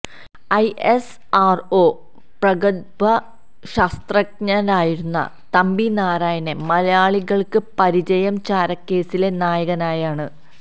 I S R O പ്രഗത്ഭ ശാസ്ത്രജ്ഞനായിരുന്ന നമ്പി നാരായണനെ മലയാളികൾക്ക് പരിചയം ചാരക്കേസിലെ നായകനായാണ്